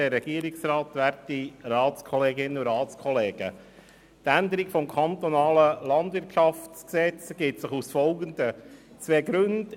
Die Änderung des KLwG ergibt sich aus den folgenden zwei Gründen: